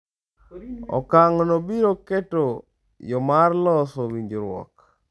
Okang’no biro keto yo mar loso winjruok.